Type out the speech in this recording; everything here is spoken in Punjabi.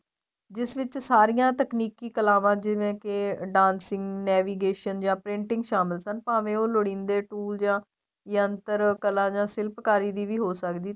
ਜਿਸ ਵਿੱਚ ਸਾਰੀਆਂ ਤਕਨੀਕੀ ਕਲਾਵਾਂ ਜਿਵੇਂ ਕੇ dancing navigation ਜਾ printing ਸ਼ਾਮਲ ਸਨ ਭਾਵੇਂ ਉਹ ਲੋੜੀਦੇ toll ਜਾ ਯੰਤਰ ਕਲਾਂ ਜਾਂ ਸਿਲਫ ਕਾਰੀ ਹੋ ਸਕਦੀ ਏ